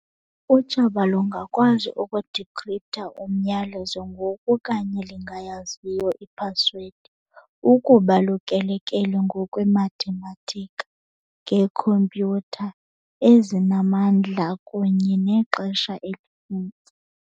Utshaba lungakwazi uku-decrypt-ha umyalezo ngoku kanye lingayaziyo i-password, ukuba lukele-kele ngokwemathematika, ngeekhompyutha ezinamandla kunye nexesha elininzi.